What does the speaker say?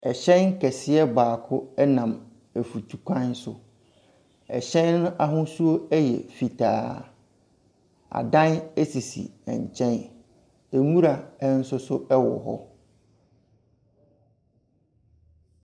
Ɛhyɛn keseɛ baako ɛnam efutukwan so. Ɛhyɛn n'ahosuo ɛyɛ fitaa. Adan esisi nkyɛn. Nwura ɛnsoso ɛwɔ hɔ.